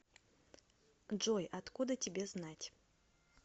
джой откуда тебе знать